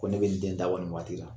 Ko ne be n den da bɔ ni waati la.